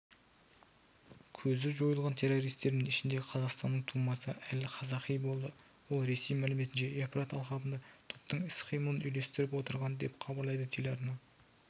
көзі жойылған террористердің ішінде қазақстанның тумасы әл-қазақи болды ол ресей мәліметінше евфрат алқабында топтың іс-қимылын үйлестіріп отырған деп хабарлайды телеарна